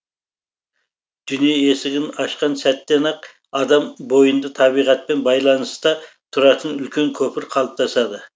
дүние есігін ашқан сәттен ақ адам бойында табиғатпен байланыста тұратын үлкен көпір қалыптасады